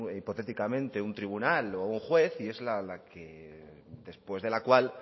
hipotéticamente un tribunal o un juez y es la que después de la cual